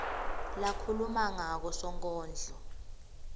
lakhuluma ngako sonkondlo